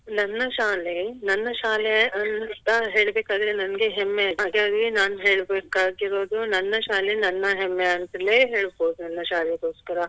ನನ್ನ ಶಾಲೆ ನನ್ನ ಶಾಲೆ ಅಂತ ಹೇಳ್ಬೇಕಾದ್ರೆ ನಂಗೆ ಹೆಮ್ಮೆ ಹಾಗಾಗಿ ನಾನ್ ಹೇಳ್ಬೇಕಾಗಿರುವುದು ನನ್ನ ಶಾಲೆ ನನ್ನ ಹೆಮ್ಮೆ ಅಂತಲೇ ಹೇಳ್ಬೋದು ನನ್ನ ಶಾಲೆಗೋಸ್ಕರ.